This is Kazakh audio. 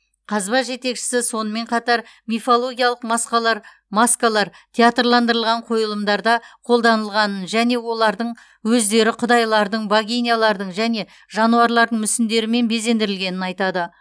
қазба жетекшісі сонымен қатар мифологиялық масқалар маскалар театрландырылған қойылымдарда қолданылғанын және олардың өздері құдайлардың богинялардың және жануарлардың мүсіндерімен безендірілгенін айтады